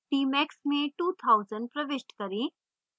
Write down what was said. tmax में 2000 प्रविष्ट करें